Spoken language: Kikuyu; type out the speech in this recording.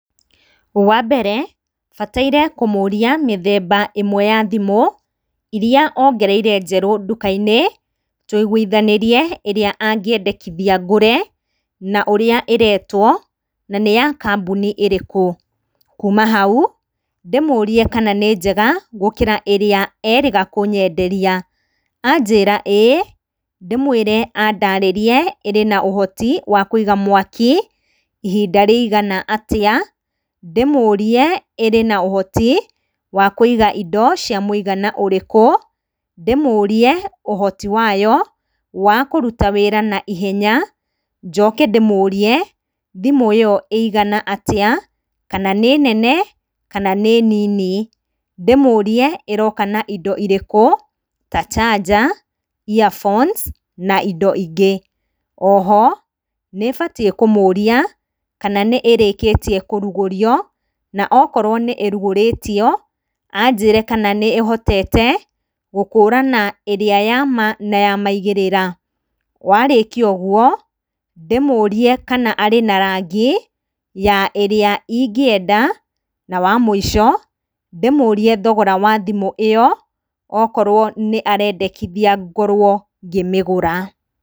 Wa mbere, bataire kũmũria mĩthemba ĩmwe ya thimũ, iria ongereire njerũ nduka-inĩ, tũigwithanĩrie ĩrĩa angĩendekithia ngũre, na ũrĩa ĩretwo, na nĩ ya kambuni ĩrĩkũ, kuuma hau, ndĩmũrie kana nĩ njega gũkĩra ĩrĩa erĩga kũnyenderia, anjĩra ĩĩ, ndĩmwĩre andarĩrie ĩrĩ na ũhoti wa kũiga mwaki, ihinda rĩigana atia, ndĩmũrie ĩrĩ na ũhoti wa kũiga indo cia mwĩigana ũrĩkũ, ndĩmũrie ũhoti wayo wa kũruta wĩra na ihenya, njoke ndĩmũrie, thimũ ĩyo ĩigana atĩa, kana nĩ nene kana nĩ nini, ndĩmũrie ĩroka na indo irĩkũ, ta charger, ear phones, na indo ingĩ nyingĩ, oho nĩ batiĩ kũmũria kana nĩ ĩrĩkĩrtie kũrukgũrio, na okorwo nĩ ĩrugũrĩtio, anjĩre kana nĩ ĩhotete gũkorwo ĩhotete gũkũrana ĩrĩa yama, na yamaigĩrĩra, warĩkia ũguo, ndĩmũrie kana arĩ na rangi, ya ĩrĩa ingĩenda, na wamwĩico ndĩmũrie thogora wa thimũ ĩyo, okorwo nĩ arendekithia ngorwo ngĩmĩgũra.